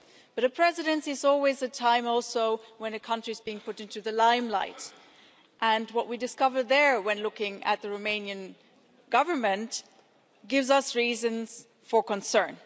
However, a Presidency is also always a time when a country is put into the limelight, and what we discover there when looking at the Romanian Government gives us reasons for concern.